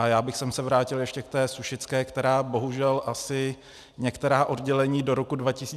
A já bych se vrátil ještě k té sušické, která bohužel asi některá oddělení do roku 2020 nevydrží.